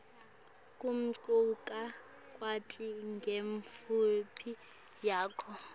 kumcoka kwati ngemvelaphi yakho